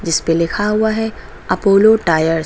जिस पे लिखा हुआ है अपोलो टायर्स ।